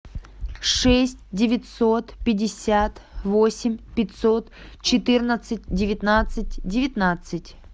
шесть девятьсот пятьдесят восемь пятьсот четырнадцать девятнадцать девятнадцать